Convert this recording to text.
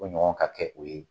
O ɲɔgɔn ka kɛ o ye.